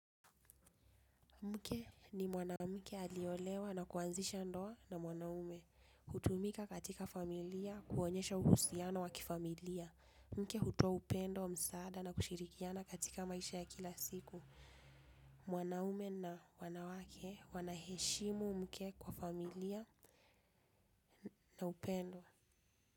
Mke ni mwanamke aliolewa na kuanzisha ndoa na mwanaume. Utumika katika familia kuonyesha uhusiano wa kifamilia. Mke hutoa upendo msaada na kushirikiana katika maisha ya kila siku. Mwanaume na wanawake wanaheshimu mke kwa familia na upendo.